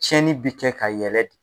Tiɲɛni bi kɛ ka yɛlɛ de.